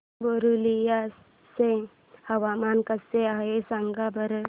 पुरुलिया चे हवामान कसे आहे सांगा बरं